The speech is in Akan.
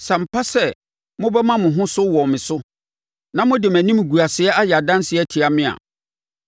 Sɛ ampa sɛ mobɛma mo ho so wɔ me so na mode mʼanimguaseɛ ayɛ adanseɛ atia me a,